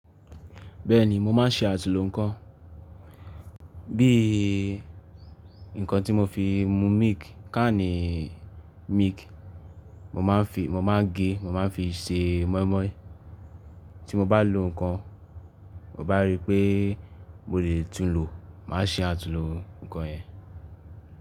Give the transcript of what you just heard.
Bẹ́ẹ̀ni, mo máa ń ṣe àtúnhùn nnkan. Bí i nǹkan tí mo fi mu milk, káànì milk, mo máa ń gé, mo máa ń fi ṣe mọ́ímọ́í. Tí mo bá lo nǹkan, mo bá rí pé mo lè tún un lò, màá ṣe àtúnlò nǹkan ẹ.